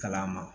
Kalan ma